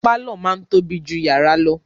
Pàlọ́ máa ń tóbi jù yàrá lọ